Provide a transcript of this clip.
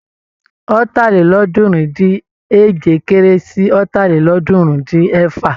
Ọ̀tàlélọ́ọ̀ọ́dúnrún-dín-èje kéré sí Ọ̀tàlélọ́ọ̀ọ́dúnrún-dín-ẹ̀fà.